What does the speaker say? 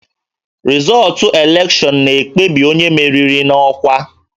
Rịzọọtụ elekshọnụ na-ekpebi onye meriri n'ọkwa